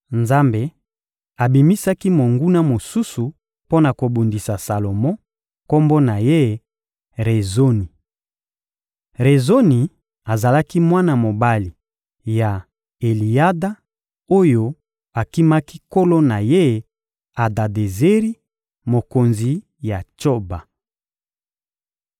Nzambe abimisaki monguna mosusu mpo na kobundisa Salomo; kombo na ye: Rezoni. Rezoni Azalaki mwana mobali ya Eliyada, oyo akimaki nkolo na ye, Adadezeri, mokonzi ya Tsoba.